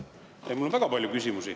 Mul on väga palju küsimusi.